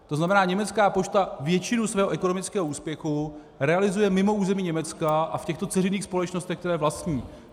To znamená, německá pošta většinu svého ekonomického úspěchu realizuje mimo území Německa a v těchto dceřiných společnostech, které vlastní.